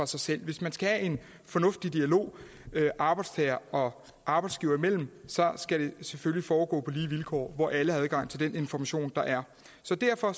sig selv hvis man skal have en fornuftig dialog arbejdstager og arbejdsgiver imellem skal det selvfølgelig foregå på lige vilkår hvor alle har adgang til den information der er så derfor